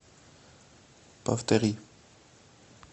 повтори